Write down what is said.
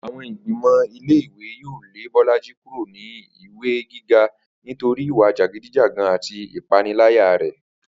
Àwo̩n ìgbìmò̩ ilé ìwé yóò lé Bó̩lájí kúrò nílé ìwé gíga nítorí ìwà jàgídíjàgan àti ìpániláyà rè̩